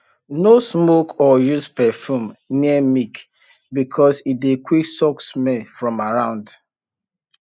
no smoke or use perfume near milk because e dey quick suck smell from around